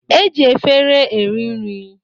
E ji efere eri nri